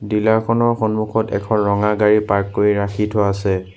Dealer খনৰ সন্মুখত এখন ৰঙা গাড়ী পাৰ্ক কৰি ৰাখি থোৱা আছে।